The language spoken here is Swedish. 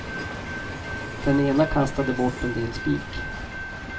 Den ene kastade bort en del spik.